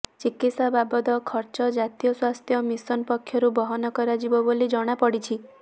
ଚିକିତ୍ସା ବାବଦ ଖର୍ଚ ଜାତୀୟ ସ୍ୱାସ୍ଥ୍ୟ ମିସନ ପକ୍ଷରୁ ବହନ କରାଯିବ ବୋଲି ଜଣାପଡ଼ିଛି